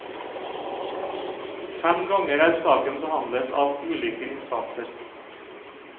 Fem ganger er saken behandlet av ulike instanser.